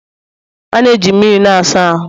a na-eji mmiri na-asa ahụ